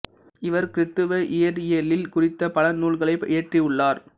இவர் கிறித்தவ இறையியல் குறித்த பல நூல்களை இயற்றி உள்ளார்